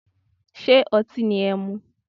Ṣé otín ni ẹmu.